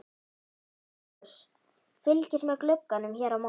SOPHUS: Fylgist með glugganum hér á móti.